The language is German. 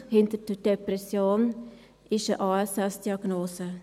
Hinter der Depression ist eine ASS-Diagnose.